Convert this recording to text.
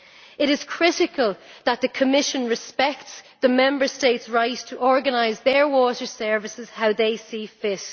It is critical that the Commission respect the Member States' right to organise their water services as they see fit.